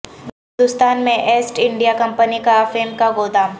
ہندوستان میں east India company کا افیم کا گودام